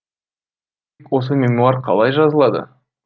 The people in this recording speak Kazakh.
осы мемуар қалай жазылады